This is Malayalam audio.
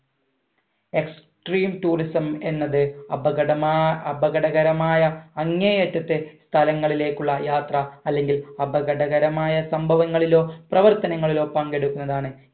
extreme tourism എന്നത് അപകടമാ അപകടകരമായ അങ്ങേയറ്റത്തെ സ്ഥലങ്ങളിലേക്കുള്ള യാത്ര അല്ലെങ്കിൽ അപകടകരമായ സംഭവങ്ങളിലോ പ്രവർത്തനങ്ങളിലോ പങ്കെടുക്കുന്നതാണ്